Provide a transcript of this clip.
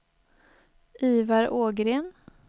Ivar Ågren